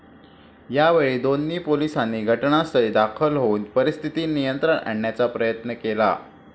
यावेळी दोन पोलिसांनी घटनास्थळी दाखल होऊन परिस्थिती नियंत्रणात आणण्याचा प्रयत्न केला.